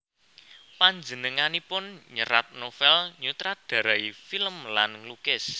Panjenenganipun nyerat novel nyutradarai film lan nglukis